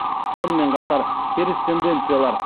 сонымен қатар теріс тенденциялар